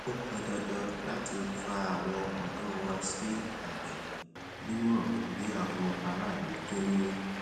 ó pọn dandan láti fa àwọn ọdọ wá sí àgbè níwòn bí àwọn aráàlú tó ń